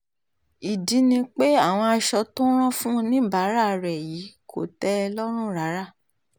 ìdí ni pé àwọn aṣọ tó rán fún oníbàárà rẹ̀ yìí kò tẹ́ ẹ lọ́rùn rárá